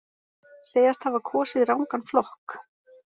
Segjast hafa kosið rangan flokk